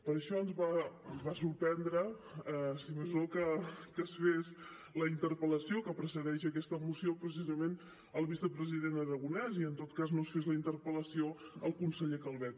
per això ens va sorprendre si més no que es fes la interpel·lació que precedeix aquesta moció precisament al vicepresident aragonès i en tot cas no es fes la interpel·lació al conseller calvet